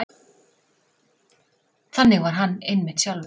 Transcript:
Þannig var hann einmitt sjálfur.